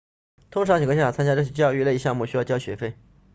通常情况下参加这些教育类项目需要交学费